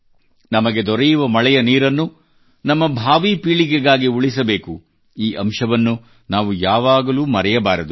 ನಮಗೆ ದೊರೆಯುವ ಮಳೆಯ ನೀರನ್ನು ನಮ್ಮ ಭಾವೀ ಪೀಳಿಗೆಗಾಗಿ ಉಳಿಸಬೇಕು ಈ ಅಂಶವನ್ನು ನಾವು ಯಾವಾಗಲೂ ಮರೆಯಬಾರದು